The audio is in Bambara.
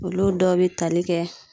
Olu dɔw be tali kɛ